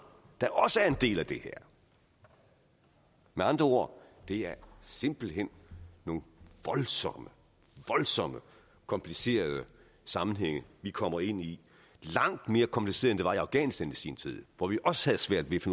der også er en del af det her med andre ord det er simpelt hen nogle voldsomt voldsomt komplicerede sammenhænge vi kommer ind i langt mere komplicerede end det var i afghanistan i sin tid hvor vi også havde svært ved